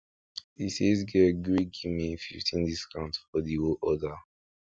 di sales guy gree give me fifteen discount for di whole order